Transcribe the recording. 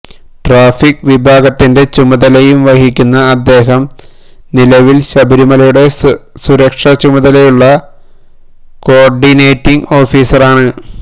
traffic വിഭാഗത്തിന്റെ ചുമതലയും വഹിക്കുന്ന അദ്ദേഹം നിലവില് ശബരിമലയുടെ സുരക്ഷചുമതലയുള്ള കോര്ഡിനേറ്റിംഗ് ഓഫീസറാണ്